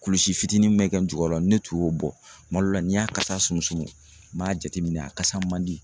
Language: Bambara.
Kulusi fitinin mun be kɛ n jukɔrɔ , ni ne tun y'o bɔ kuma dɔw la n'i y'a kasa sumusumu b'a jateminɛ a kasa man di.